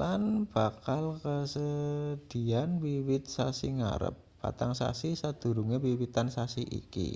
lan bakla kasedhiyan wiwit sasi ngarep patang sasi sadurunge wiwitan sasi iki